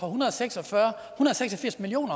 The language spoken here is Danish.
hundrede og seks og firs million